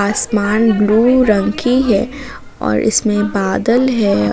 आसमान ब्लू रंग की है और इसमें बादल है।